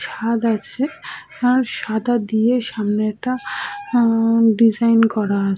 ছাদ আছে আর সাদা দিয়ে সামনেটা আ-আ ডিসাইন করা আ--